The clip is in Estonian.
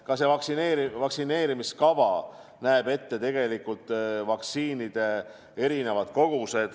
Ka see vaktsineerimiskava näeb ette tegelikult vaktsiinide erinevad kogused.